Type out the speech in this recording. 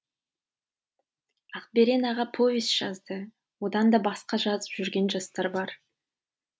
ақберен аға повесть жазды одан да басқа жазып жүрген жастар бар